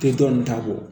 Te dɔn nin ta bɔ